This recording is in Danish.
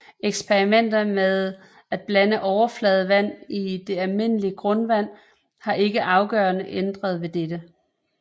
Eksperimenter med at blande overfladevand i det almindelige grundvand har ikke afgørende ændret ved dette